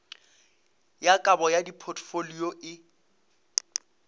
ya kabo ya dipotfolio e